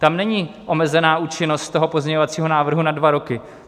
Tam není omezená účinnost toho pozměňovacího návrhu na dva roky.